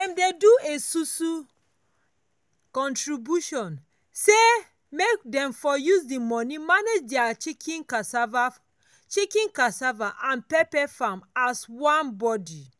dem dey do esusu (contribution) say make dem for use the money manage their chicken cassava chicken cassava and pepper farm as one body.